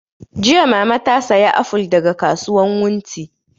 Jiya mama ta saya aful daga kasuwan wunti